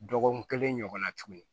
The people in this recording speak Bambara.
Dɔgɔkun kelen ɲɔgɔnna tuguni